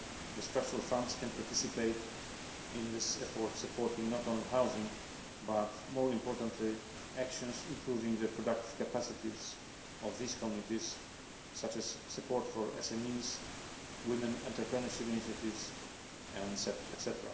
The Structural Funds can participate in this effort, supporting not only housing but more importantly actions improving the productive capacities of these communities, such as support for SMEs, women, entrepreneurship initiatives, etc.